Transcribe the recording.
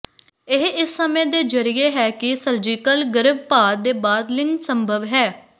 ਇਹ ਇਸ ਸਮੇਂ ਦੇ ਜ਼ਰੀਏ ਹੈ ਕਿ ਸਰਜੀਕਲ ਗਰਭਪਾਤ ਦੇ ਬਾਅਦ ਲਿੰਗ ਸੰਭਵ ਹੈ